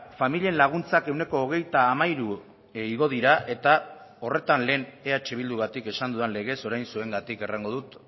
familien laguntzak ehuneko hogeita hamairu igo dira eta horretan lehen eh bildugatik esan dudan legez orain zuengatik errango dut